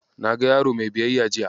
Na ga yaro mai biyayya jiya.